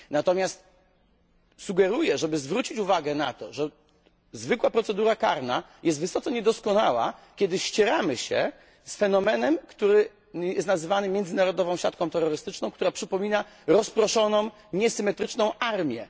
Natomiast sugeruję, żeby zwrócić uwagę na to, że zwykła procedura karna jest wysoce niedoskonała, kiedy ścieramy się z fenomenem nazywanym międzynarodową siatką terrorystyczną, która przypomina rozproszoną niesymetryczną armię.